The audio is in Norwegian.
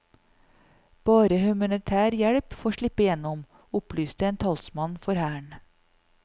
Bare humanitær hjelp får slippe gjennom, opplyste en talsmann for hæren.